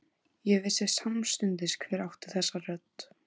Ég vissi samstundis hver átti þessa rödd.